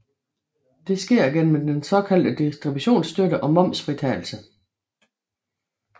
Det sker gennem den såkaldte distributionsstøtte og momsfritagelse